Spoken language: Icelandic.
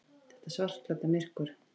Þetta svartklædda myrkur.